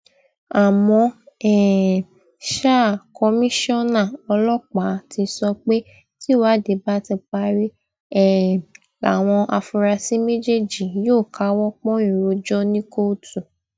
àmọ um ṣá kọmíṣánná ọlọpàá ti sọ pé tìwádìí bá ti parí um làwọn afurasí méjèèjì yóò káwọ pọnyìn rojọ ní kóòtù